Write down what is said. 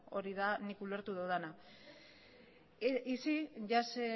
hori da nik ulertu dudana y sí ya sé